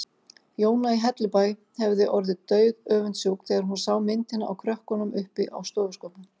Jóna í Hellubæ hefði orðið dauðöfundsjúk þegar hún sá myndina af krökkunum uppi á stofuskápnum.